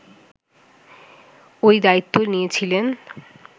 ওই দায়িত্ব নিয়েছিলেন